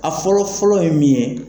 A fɔlɔ fɔlɔ ye min ye